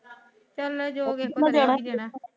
ਚਲ ਜੋ ਵੀ ਆਪਾ ਦੇ ਹੀ ਦੇਣਾ ਦੇਣਾ।